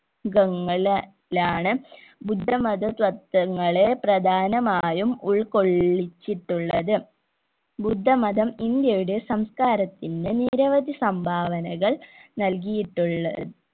കങ്ങല് ലാണ് ബുദ്ധമത തത്വങ്ങളെ പ്രധാനമായും ഉൾക്കൊള്ളിച്ചിട്ടുള്ളത് ബുദ്ധമതം ഇന്ത്യയുടെ സമസ്‌കാരത്തിന്റെ നിരവധി സംഭാവനകൾ നൽകിയിട്ടുള്ള